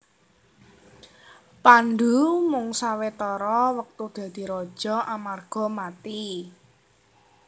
Pandhu mung sawetara wektu dadi raja amarga mati